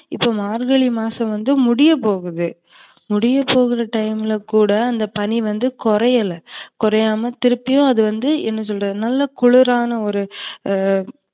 இப்ப மார்கழி மாசம் வந்து முடியப்போகுது. முடியபோகுற time ல கூட அந்த பனி வந்து குறையல. குறையாம திருப்பியும் அதுவந்து என்ன சொல்றது குளிரான ஒரு